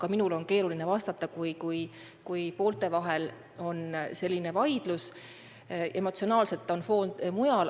Ka minul on keeruline vastata, kui poolte vahel on selline vaidlus, sest emotsionaalselt on foon mujal.